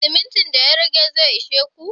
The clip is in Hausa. Simintin da ya rage zai ishe ku?